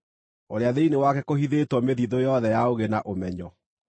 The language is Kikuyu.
ũrĩa thĩinĩ wake kũhithĩtwo mĩthiithũ yothe ya ũũgĩ na ũmenyo.